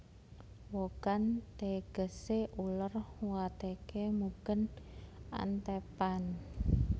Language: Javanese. Wogan tegesé uler wateké mugên antêpan